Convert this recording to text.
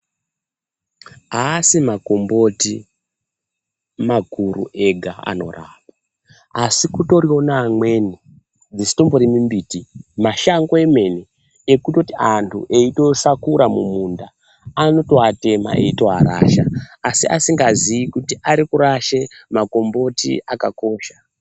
Haasi makomboti makuru ega anorapa, asi kutoriwo neamweni, dzisitombori mimbiti mashango emene, ekutoti antu eitosakura mumunda, anotoatema eyitorasha asi asingazii kuti ari kurashe makomboti akakosha.